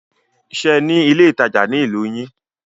Ṣe ní ilé ìtajà ní ìlú yín?